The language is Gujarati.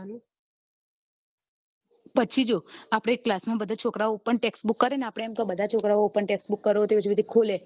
પછી જો આપડે class માં બધા છોકરા open text book કરે આપડે બધા છોકરાઓ open text book કરો હજુ સુધી ખોલે